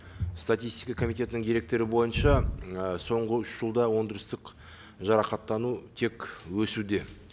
статистика комитетінің деректері бойынша і соңғы үш жылда өндірістік жарақаттану тек өсуде